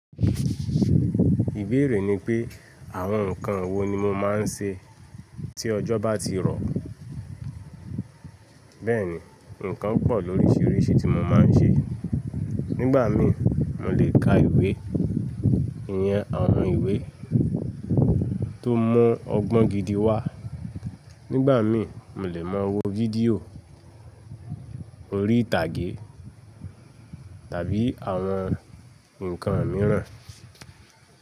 Ìbéèrè ni pé àwọn ǹkan wo ni mo máa ń ṣe tí ọjọ́ bá ti rọ̀. Bẹ́ẹ̀ni, ǹkan pọ̀ lórísìíríṣìí tí mo máa ń ṣe. Nígbà mí mo lè ka ìwé, iyen àwọn ìwé tó mọ́ ọgbọ́n gidi wá. Nígbà mí mo lè máa wo fídíò, orí ìtàgé tàbí àwọn nǹkan mìíràn.